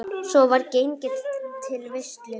Svo var gengið til veislu.